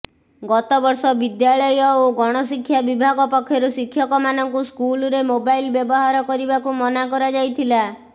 ଗତବର୍ଷ ବିଦ୍ୟାଳୟ ଓ ଗଣଶିକ୍ଷା ବିଭାଗ ପକ୍ଷରୁ ଶିକ୍ଷକମାନଙ୍କୁ ସ୍କୁଲରେ ମୋବାଇଲ ବ୍ୟବହାର କରିବାକୁ ମନା କରାଯାଇଥିଲା